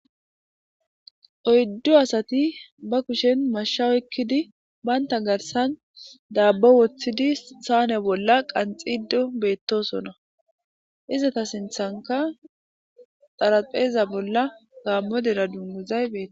Oyduasati ba kushen Masha oykidi bantaw garassn dobbo wothidi sane bolla wothidi qanxishe betosona izeta sinthanka xarapheza bolla Gamo dere dunguzay betes